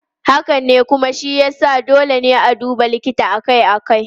Haka ne, kuma shi ya sa dole ne a duba likita akai-akai.